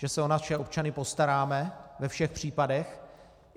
Že se o naše občany postaráme ve všech případech.